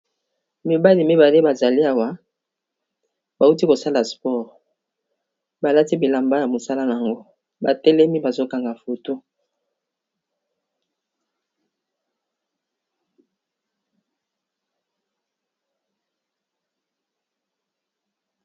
mibali mibale bazali awa bauti kosala spore balati bilamba ya mosala n yango batelemi bazokanga foto